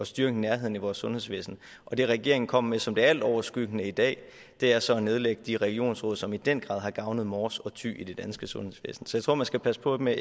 styrke nærheden i vores sundhedsvæsen og det regeringen kommer med som det altoverskyggende i dag er så at nedlægge de regionsråd som i den grad har gavnet mors og thy i det danske sundhedsvæsen så jeg tror man skal passe på med